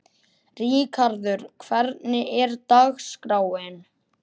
Ríkharður, hvernig er dagskráin?